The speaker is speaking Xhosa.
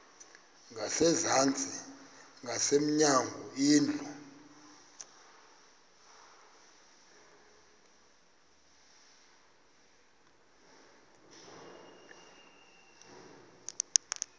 ngasezantsi ngasemnyango indlu